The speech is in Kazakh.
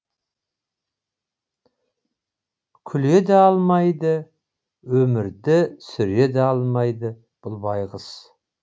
күле де алмайды өмірді сүре де алмайды бұл байғұс